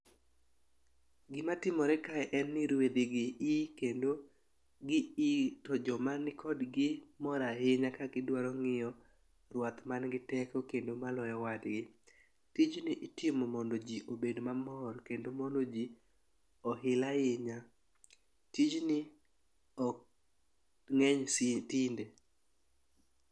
Gima timore kae en ni rwedhi gi ii kendo gi yii to joma ni kodgi mor ahinya ka gidwaro ng'iyo rwath man gi teko kendo maloyo wadgi. Tijni itimo mondo jii obed mamor kendo mondo jii ohil ahinya tijni ok ng'eny si tinde.